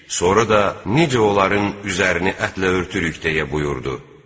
Sonra da necə onların üzərini ətlə örtürük, deyə buyurdu.